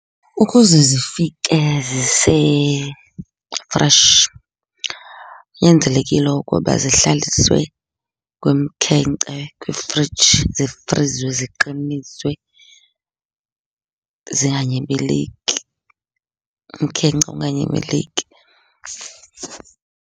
Ukuze zifike zise-fresh kunyanzelekile ukuba zihlaliswe kumkhenkce kwifriji, zifriziwe ziqiniswe zinganyibiliki, umkhenkce unganyibiliki.